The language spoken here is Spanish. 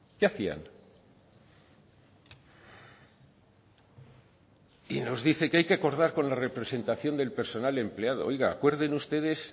qué hacían y nos dice que hay que acordar con la representación del personal empleado oiga acuerden ustedes